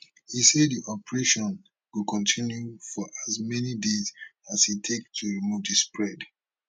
e say di operation go continue for as many days as e take to remove di spread